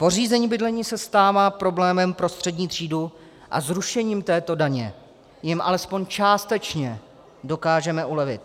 Pořízení bydlení se stává problémem pro střední třídu a zrušením této daně jim alespoň částečně dokážeme ulevit.